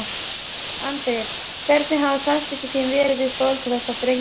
Andri: Hvernig hafa samskipti þín verið við foreldra þessara drengja?